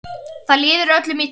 Það líður öllum illa.